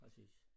Præcis